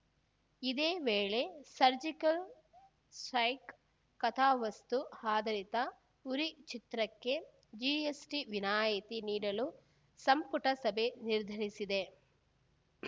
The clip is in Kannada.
ಇದೇ ವೇಳೆ ಸರ್ಜಿಕಲ್‌ ಸ್ಟೈಕ್‌ ಕಥಾವಸ್ತು ಆಧಾರಿತ ಉರಿ ಚಿತ್ರಕ್ಕೆ ಜಿಎಸ್‌ಟಿ ವಿನಾಯಿತಿ ನೀಡಲು ಸಂಪುಟ ಸಭೆ ನಿರ್ಧರಿಸಿದೆ